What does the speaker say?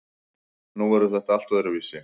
Nú verður þetta allt öðruvísi.